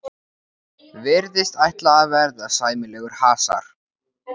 Virðist ætla að verða sæmilegur hasar.